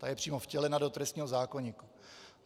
Ta je přímo vtělena do trestního zákoníku.